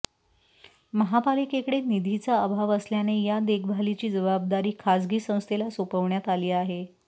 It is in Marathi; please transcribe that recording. महापालिकेकडे निधीचा अभाव असल्याने या देखभालीची जबाबददारी खासगी संस्थेला सोपवण्यात आली आहे